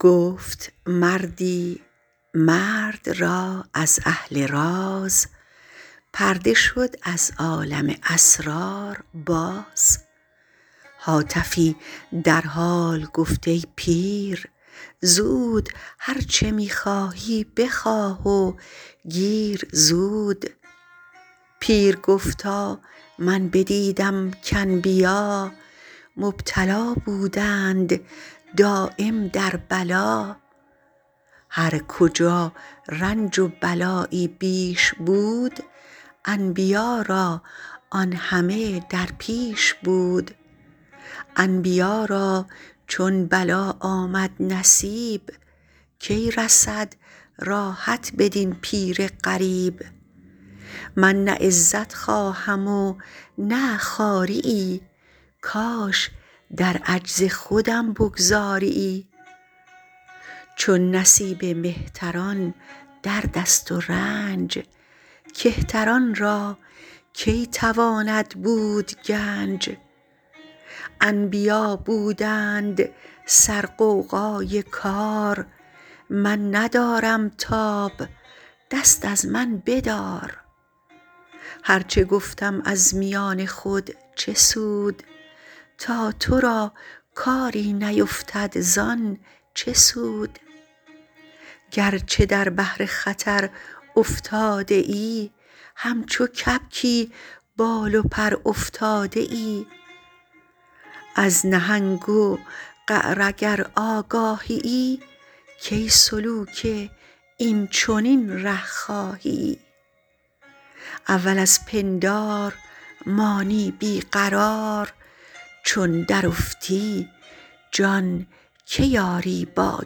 گفت مردی مرد را از اهل راز پرده شد از عالم اسرار باز هاتفی در حال گفت ای پیر زود هرچه می خواهی به خواه و گیر زود پیر گفتا من بدیدم کانبیا مبتلا بودند دایم در بلا هر کجا رنج و بلایی بیش بود انبیا را آن همه در پیش بود انبیا را چون بلا آمد نصیب کی رسد راحت بدین پیر غریب من نه عزت خواهم و نه خواریی کاش در عجز خودم بگذاریی چون نصیب مهتران در دست و رنج کهتران را کی تواند بود گنج انبیا بودند سر غوغای کار من ندارم تاب دست از من بدار هرچ گفتم از میان خود چه سود تا ترا کاری نیفتد زان چه سود گرچه در بحر خطر افتاده ای همچو کبکی بال و پرافتاده ای از نهنگ و قعر اگر آگاهیی کی سلوک این چنین ره خواهیی اول از پندار مانی بی قرار چون درافتی جان کی آری با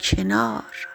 کنار